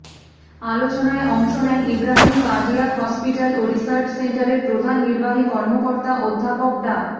আলোচনায় অংশ নেন ইব্রাহিম কার্ডিয়াক হসপিটাল ও রিসার্চ সেন্টারের প্রধান নির্বাহী কর্মকর্তা অধ্যাপক ডা